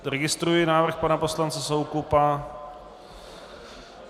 Registruji návrh pana poslance Soukupa.